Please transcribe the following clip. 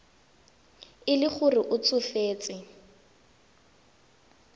e le gore o tsofetse